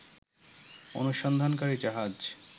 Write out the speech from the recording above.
অনুসন্ধানকারী জাহাজ